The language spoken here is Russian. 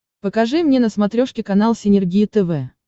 покажи мне на смотрешке канал синергия тв